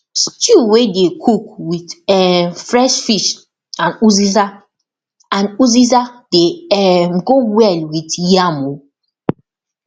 stew wey dey cook with um fresh fish and uziza and uziza dey um go well with yam um